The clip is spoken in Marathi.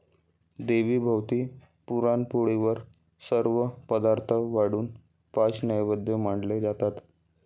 देवीभोवती पुराणपोळीवर सर्व पदार्थ वाढून पाच नैवेद्य मांडले जातात.